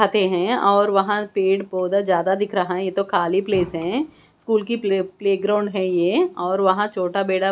है और वहां पेड़ पौध ज्यादा दिख रहा है। ये तो खाली प्लेस है। स्कूल की प्ले प्लेग्राउंड है ये और वहां छोटा बेड़ा--